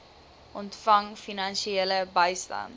ontvang finansiële bystand